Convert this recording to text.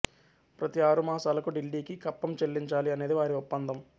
ప్రతి ఆరుమాసాలకు ఢిల్లీకి కప్పం చెల్లించాలి అనేది వారి ఒప్పందం